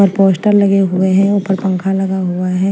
ऊपर पोस्टर लगे हुए हैं ऊपर पंखा लगा हुआ है।